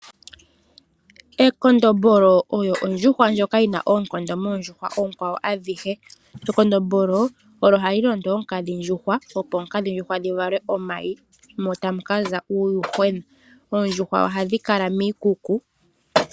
Ekondombolo oyo ondjuhwa ndjoka yina oonkondo moondjuhwa oonkwawo adhihe. Ekondombolo olyo hali londo oonkadhi ndjuhwa opo oonkadhi ndjuhwa dhi vale omayi mo tamu kaza uuyuhwena. Oondjuhwa ohadhi kala miikuku.